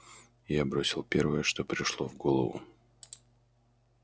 я бросил первое что пришло в голову